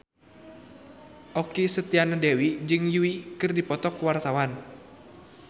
Okky Setiana Dewi jeung Yui keur dipoto ku wartawan